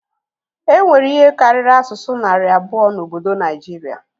E nwere ihe karịrị asụsụ narị abụọ n'obodo Naijiria